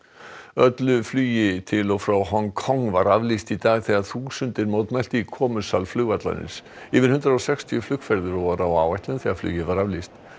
öllu flugi til og frá Hong Kong var aflýst í dag þegar þúsundir mótmæltu í komusal flugvallarins yfir hundrað og sextíu flugferðir voru á áætlun þegar flugi var aflýst